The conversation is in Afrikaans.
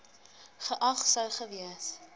geag sou gewees